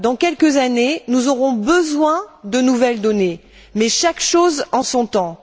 Dans quelques années, nous aurons besoin de nouvelles données mais chaque chose en son temps.